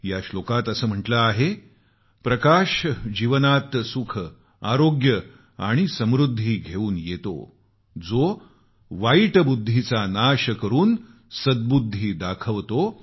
या श्लोकात असं म्हटले आहेप्रकाश जीवनात सुख आरोग्य आणि समृद्धी घेऊन येतो जो वाईट बुद्धीचा नाश करून सद्बुद्धी दाखवतो